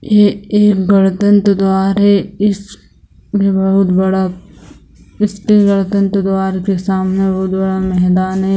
ये एक गणतंत्र द्वार है इस बहुत बड़ा इसके गणतंत्र द्वार के सामने बहुत बड़ा मैदान है।